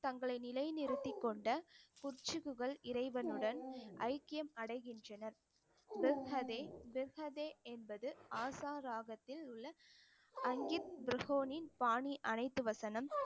தங்களை நிலைநிறுத்திக் கொண்ட உச்சிபுகழ் இறைவனுடன் ஐக்கியம் அடைகின்றனர் என்பது ஆசா ராகத்தில் உள்ள பாணி அனைத்து வசனம்